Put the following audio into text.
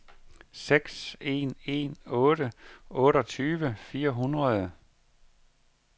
seks en en otte otteogtyve fire hundrede